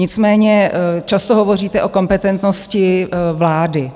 Nicméně často hovoříte o kompetentnosti vlády.